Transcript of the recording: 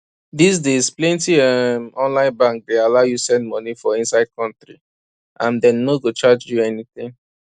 these days plenty um online bank dey allow you send money for inside country and dem no go charge you anything